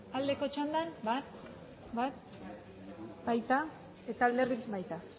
aldeko txandan bale